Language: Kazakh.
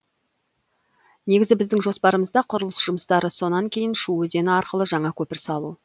негізгі біздің жоспарымызда құрылыс жұмыстары сонан кейін шу өзені арқылы жаңа көпір салу